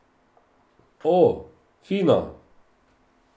O, fino!